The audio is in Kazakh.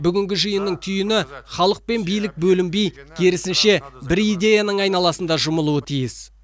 бүгінгі жиынның түйіні халық пен билік бөлінбей керісінше бір идеяның айналасында жұмылуы тиіс